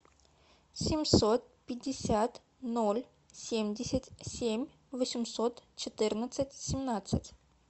семьсот пятьдесят ноль семьдесят семь восемьсот четырнадцать семнадцать